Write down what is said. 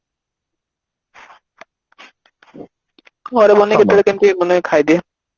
ଘରେ ମାନେ କେତେବେଳେ କେମିତି ମାନେ ଖାଇଦିଏ